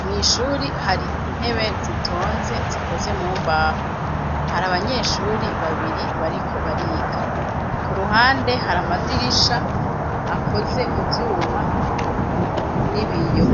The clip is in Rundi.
mw'ishure hari intebe zitonze zikoze mumbaho hari abanyeshure babiri bariko bariga ku ruhande hari amadirisha akoze mu vyuma n'ibiyo